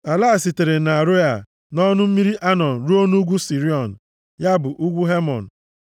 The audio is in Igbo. Ala a sitere nʼAroea, nʼọnụ mmiri Anọn ruo nʼugwu Siriọn (ya bụ ugwu Hemon),